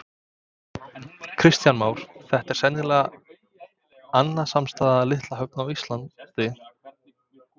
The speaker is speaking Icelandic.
Kristján Már: Þetta er sennilega annasamasta litla höfn á Íslandi?